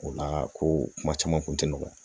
O la ko kuma caman kun tɛ nɔgɔya